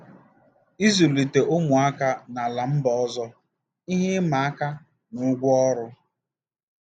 Ịzụlite ụmụaka n'ala mba ọzọ - Ihe ịma aka na ụgwọ ọrụ.